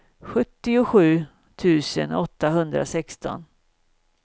sjuttiosju tusen åttahundrasexton